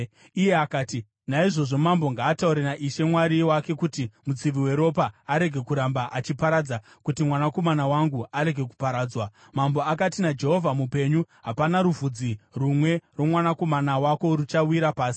Iye akati, “Naizvozvo mambo ngaataure naIshe Mwari wake kuti mutsivi weropa arege kuramba achiparadza, kuti mwanakomana wangu arege kuparadzwa.” Mambo akati, “NaJehovha mupenyu, hapana ruvhudzi rumwe rwomwanakomana wako ruchawira pasi.”